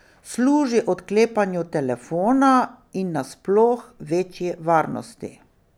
Služi odklepanju telefona in nasploh večji varnosti.